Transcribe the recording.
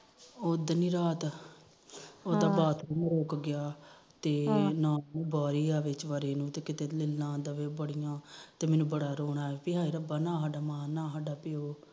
ਉਦਣ ਹੀ ਰਾਤ ਉਹਦਾ ਬਾਥਰੂਮ ਰੋਕ ਗਿਆ ਤੇ ਮੈਨੂੰ ਬੜਾ ਰੋਕਾ ਆਇਆ ਰੱਬਾ ਨਾ ਸਾਡਾ ਮਾ ਨਾ ਸਾਡਾ ਪਿਓ